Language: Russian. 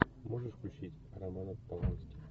можешь включить романа полански